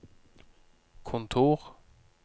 kontor